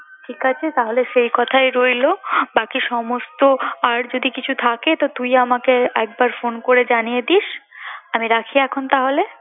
ঠিক আছে তাহলে সেই কথাই রইলো বাকি সমস্ত আর যদি কিছু থাকে তো তুই আমাকে একবার phone করে জানিয়ে দিস আমি রাখি এখন তাহলে